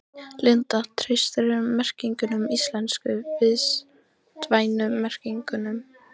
Linda: Treystirðu merkingunum íslensku, vistvænu merkingunum?